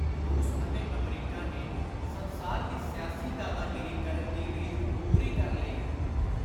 ਰੁਸ ਅਤੇ ਅਮਰੀਕਾ ਨੇ ਸੰਸਾਰ ਦੀ ਸਿਆਸੀ ਦਾਦਾਗੀਰੀ ਕਰਨ ਦੀ ਰੀਝ ਪੁਰੀ ਕਰ ਲਈ ਹੈ।